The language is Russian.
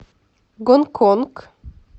гонконг